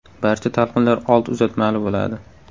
Barcha talqinlar old uzatmali bo‘ladi.